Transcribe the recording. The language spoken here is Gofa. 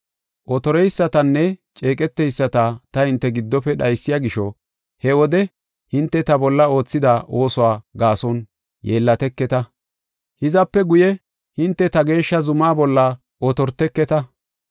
Otoreysatanne ceeqeteyisata ta hinte giddofe dhaysiya gisho, he wode hinte ta bolla oothida oosuwa gaason yeellateketa. Hizape guye hinte ta geeshsha zumaa bolla otorteketa.